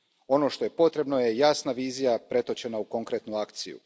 Ono što je potrebno je jasna vizija pretočena u konkretnu akciju.